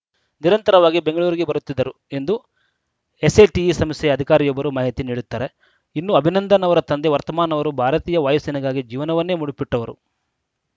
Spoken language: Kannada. ನಿರಂತರವಾಗಿ ಬೆಂಗಳೂರಿಗೆ ಬರುತ್ತಿದ್ದರು ಎಂದು ಎಸ್‌ಎಟಿಇ ಸಂಸ್ಥೆಯ ಅಧಿಕಾರಿಯೊಬ್ಬರು ಮಾಹಿತಿ ನೀಡುತ್ತಾರೆ ಇನ್ನು ಅಭಿನಂದನ್‌ ಅವರ ತಂದೆ ವರ್ತಮಾನ್‌ ಅವರು ಭಾರತೀಯ ವಾಯುಸೇನೆಗಾಗಿ ಜೀವನವನ್ನೇ ಮುಡುಪಿಟ್ಟವರು